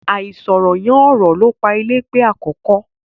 Àìsọ̀rọ̀ yán ọ̀rọ̀ ló pa Eléèpé àkọ́kọ́.